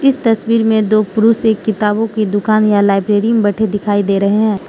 इस तस्वीर में दो पुरुष एक किताबों की दुकान या लाइब्रेरी में बैठे दिखाई दे रहे हैं।